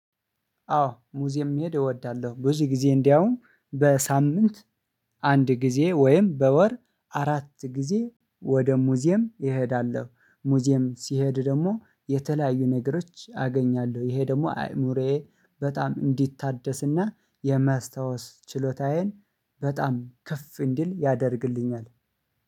አዎ ሙዚየም እሄድ እወዳለሁ ብዙ ጊዜ እንደውም በሳምንት አንድ ጊዜ ወይም በወር አራት ጊዜ ወደ ሙዚየም እሄዳለሁ ሙዚየም ስሄድ ደግሞ የተለያዩ ነገሮች አገንያለሁ ይሄ ደግሞ አይምሮየ በጣም እንዲታደስና የማስታወስ ችሎታዬን በጣም ከፍ እንዲል ያደርገዋል።